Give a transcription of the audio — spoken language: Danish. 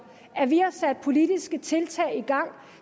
at vi har sat politiske tiltag i gang